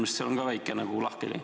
Minu meelest on siin väike lahkheli.